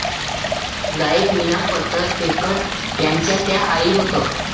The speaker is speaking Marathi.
गायिका मीना फतर फेकर यांच्या त्या आई होत